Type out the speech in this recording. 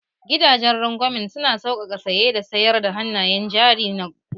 Gidanjen rangwamen su na saukaka saye da sayar da hannayen jarin gwamnati